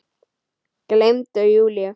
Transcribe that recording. Gleymdi Júlíu.